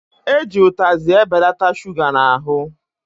Eji utazị ebelata shuga n'ahụ